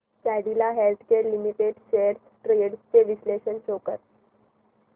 Cadila healthcare limited shares trends चे विश्लेषण show कर